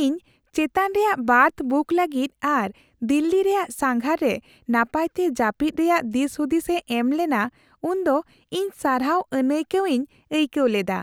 ᱤᱧ ᱪᱮᱛᱟᱱ ᱨᱮᱭᱟᱜ ᱵᱟᱨᱛᱷ ᱵᱩᱠ ᱞᱟᱹᱜᱤᱫ ᱟᱨ ᱫᱤᱞᱞᱤ ᱨᱮᱭᱟᱜ ᱥᱟᱸᱜᱷᱟᱨ ᱨᱮ ᱱᱟᱯᱟᱭᱛᱮ ᱡᱟᱹᱯᱤᱫ ᱨᱮᱭᱟᱜ ᱫᱤᱥᱦᱩᱫᱤᱥᱮ ᱮᱢ ᱞᱮᱱᱟ ᱩᱱᱫᱚ ᱤᱧ ᱥᱟᱨᱦᱟᱣ ᱟᱹᱱᱟᱹᱭᱠᱟᱹᱣ ᱤᱧ ᱟᱭᱠᱟᱹᱣ ᱞᱮᱫᱟ ᱾